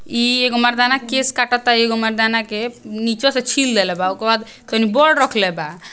इह एक मरदाना केश काटत बा हइ इक मरदाना के निचे से छील रहेले बा देले बा ओके बाद कही बोर्ड रखले बा।